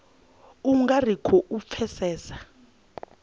u nga ri khou pfesesa